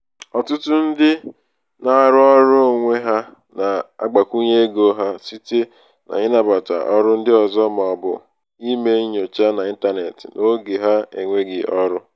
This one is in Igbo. ọtụtụ ndị na-arụ ọrụ onwe ha na-agbakwunye ego ha site n’ịnabata oru ndị ọzọ ma ọ bụ ime nnyocha n’ịntanetị n’oge ha enweghị ọrụ